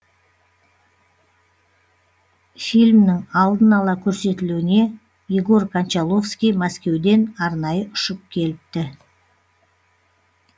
фильмнің алдын ала көрсетілуіне егор кончаловский мәскеуден арнайы ұшып келіпті